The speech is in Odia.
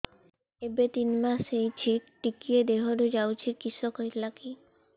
ଏବେ ତିନ୍ ମାସ ହେଇଛି ଟିକିଏ ଦିହରୁ ଯାଉଛି କିଶ ହେଲାକି